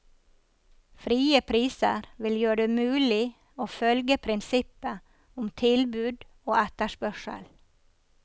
Frie priser vil gjøre det mulig å følge prinsippet om tilbud og etterspørsel.